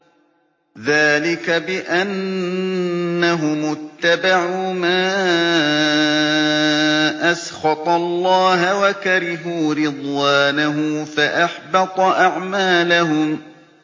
ذَٰلِكَ بِأَنَّهُمُ اتَّبَعُوا مَا أَسْخَطَ اللَّهَ وَكَرِهُوا رِضْوَانَهُ فَأَحْبَطَ أَعْمَالَهُمْ